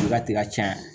Ka ti ka caya